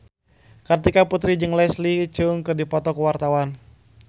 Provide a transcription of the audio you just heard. Kartika Putri jeung Leslie Cheung keur dipoto ku wartawan